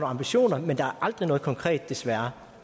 ambitioner men der aldrig noget konkret desværre